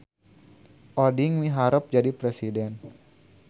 Oding miharep jadi presiden